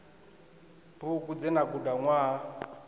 bugu dze na guda ṅwaha